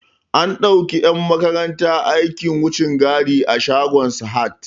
An dauki 'yan makaranta aikin wucin gadi a shagon Sahad.